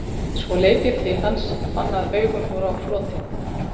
Svo leit ég til hans, fann að augun voru á floti.